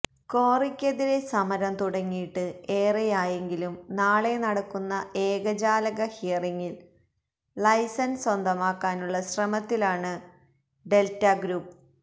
ക്വാറിക്കെതിരേ സമരം തുടങ്ങിയിട്ട് ഏറെയായെങ്കിലും നാളെ നടക്കുന്ന ഏകജാലക ഹിയറിങ്ങില് ലൈസന്സ് സ്വന്തമാക്കാനുള്ള ശ്രമത്തിലാണ് ഡെല്റ്റഗ്രൂപ്പ്